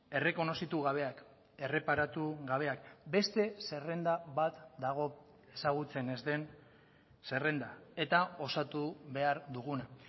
errekonozitu gabeak erreparatu gabeak beste zerrenda bat dago ezagutzen ez den zerrenda eta osatu behar duguna